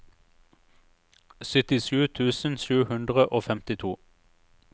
syttisju tusen sju hundre og femtito